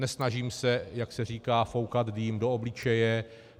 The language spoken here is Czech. Nesnažím se, jak se říká, foukat dým do obličeje.